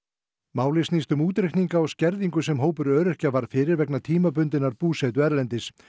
málið snýst um útreikninga á skerðingu sem hópur öryrkja varð fyrir vegna tímabundinnar búsetu erlendis